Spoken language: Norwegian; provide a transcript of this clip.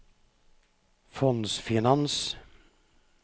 fondsfinans